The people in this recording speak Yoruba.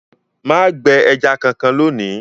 Má gbẹ ẹja kankan lónìí!